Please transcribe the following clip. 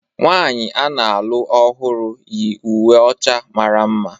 Nwaanyị a na-alụ ọhụrụ yi uwe ọcha mara mma.